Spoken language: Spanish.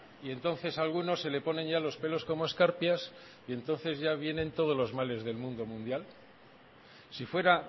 y entonces a algunos se le ponen ya los pelos como escarpias y entonces ya vienen todos los males del mundo mundial si fuera